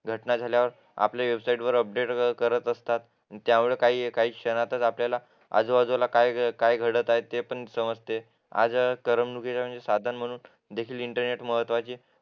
घटना झाल्यावर आपल्या वेबसाईटवर अपडेट करत असतात त्यामुळे काही क्षणातच आपल्याला आजूबाजूला काय काय घडत आहे ते पण समजते आणि करमणुकीचे साधन म्हणून देखील इंटरनेट महत्त्वाचे आहे